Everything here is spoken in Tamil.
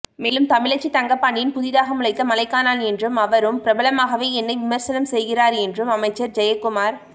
மேலும் தமிழச்சி தங்கபாண்டியன் புதிதாக முளைத்த மழைக்காளான் என்றும் அவரும் பிரபலமாகவே என்னை விமர்சனம் செய்கிறார் என்றும் அமைச்சர் ஜெயக்குமார்